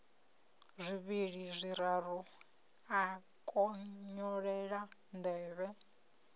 zwivhili zwiraru a konyolela nḓevhe